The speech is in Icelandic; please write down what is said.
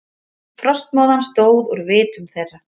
Frostmóðan stóð úr vitum þeirra.